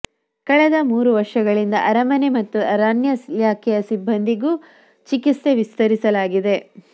ಕಳೆದ ಮೂರು ವರ್ಷಗಳಿಂದ ಅರಮನೆ ಮತ್ತು ಅರಣ್ಯ ಇಲಾಖೆಯ ಸಿಬ್ಬಂದಿಗೂ ಚಿಕಿತ್ಸೆ ವಿಸ್ತರಿಸಲಾಗಿದೆ